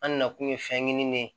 An nana kun ye fɛn ɲini ne ye